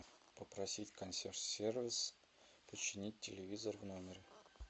попросить консьерж сервис починить телевизор в номере